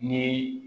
Ni